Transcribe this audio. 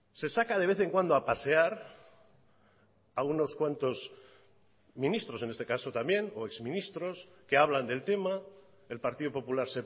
se saca de vez en cuando a pasear a unos cuantos ministros en este caso también o ex ministros que hablan del tema el partido popular